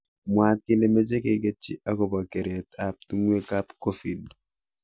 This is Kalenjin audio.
Mwaat kele meche keketchi akopo keret ap tungwek ap COVID.